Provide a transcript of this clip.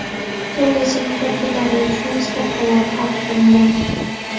Turli sinf vakillari uchun stavkalar farq qilgan.